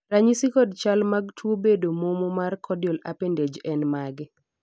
ranyisi kod chal mag tuo bedo momo mar caudal appendage en mage?